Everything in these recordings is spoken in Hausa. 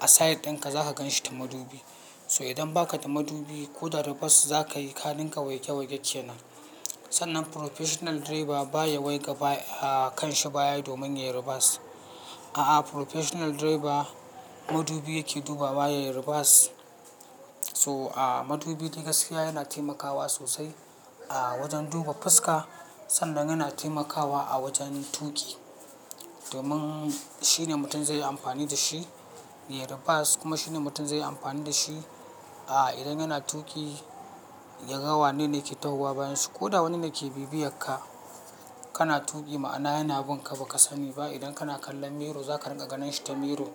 a side ɗinka zaka gan shi ta madubi. To idan baka da madubi ko da reverse zakayi ka dinga waige-waige kenan. Sannan professional driver baya waiga ba- kanshi baya domin yayi reverse. A'a professional driver madubi yake duba baya yayi reverse. To madubi dai gaskiya yana taimakawa sosai, a wajen duba fuska sannan yana taimakawa a wajen tuƙi. Domin shine mutum zai yi amfani da shi yayi reverse, kuma shine mutum zai yi amfani da shi idan yana tuƙi, ya ga wane ne yake tahowa bayanshi. Ko da wani ne ke bibiyar ka, kana tuƙi ma'ana yana bun ka baka sani ba idan kana kallon mirror zaka riƙa ganin shi ta mirror.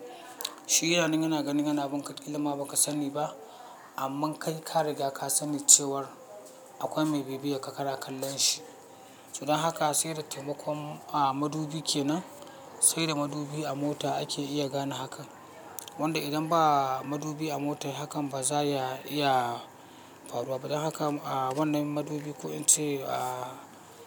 Shi yana nan yana gani yana bun ka ƙilama baka sani ba, amma kai ka riga ka sani cewar akwai mai bibiyar ka kana kallon shi. To dan haka sai da taimakon madubi kenan, sai da madubi a mota ake iya gane hakan. Wanda idan ba madubi a mota hakan ba za ya iya faruwa ba, don haka wannan madubi ko in ce.